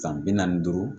San bi naani duuru